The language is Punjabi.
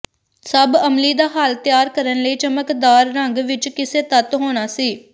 ਸਭ ਅਮਲੀ ਦਾ ਹੱਲ ਤਿਆਰ ਕਰਨ ਲਈ ਚਮਕਦਾਰ ਰੰਗ ਵਿੱਚ ਕਿਸੇ ਤੱਤ ਹੋਣਾ ਸੀ